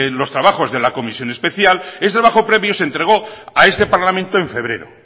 los trabajos de la comisión especial ese trabajo previo se entregó a este parlamento en febrero